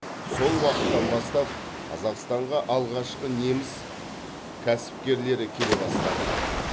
сол уақыттан бастап қазақстанға алғашқы неміс кәсіпкерлері келе бастады